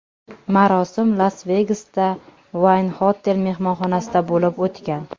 Marosim Las-Vegasda, Wynn Hotel mehmonxonasida bo‘lib o‘tgan.